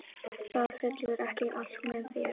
Það fellur ekki allt með þér.